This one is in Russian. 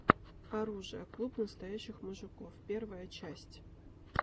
оружие клуб настоящих мужиков первая часть